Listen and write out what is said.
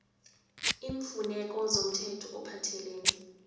iimfuneko zomthetho ophathelene